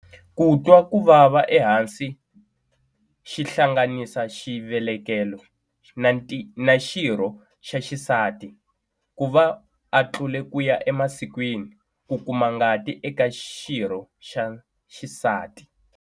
Ku twa ku vava ehansi xihlanganisa xivelekelo na xirho xa xisati, ku va a tlule ku ya emasikwini, ku kuma ngati eka xirho xa xisati.